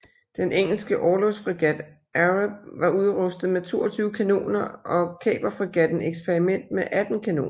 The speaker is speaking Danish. Den engelske orlogsfregat Arab var udrustet med 22 kanoner og kaperfregatten Experiment med 18 kanoner